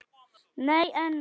Nei en.